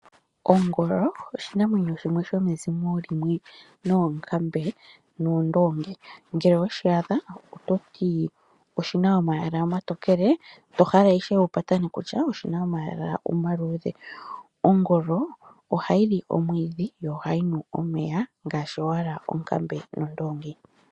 Ongolo oshinamwenyo shimwe shomezimo limwe noonkambe noondongi. Ngele oweshi adha ototi oshina omayala omatokele to hala ishewe wu patane, kutya oshina omayala omaluudhe. Ongolo ohayi li omwiidhi yo ohayi nu omeya ngaashi owala onkambe nondoongi.